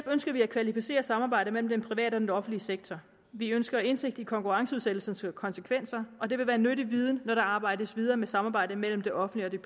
ønsker vi at kvalificere samarbejdet mellem den private og den offentlige sektor vi ønsker indsigt i konkurrenceudsættelsens konsekvenser og det vil være nyttig viden når der arbejdes videre med samarbejdet mellem det offentlige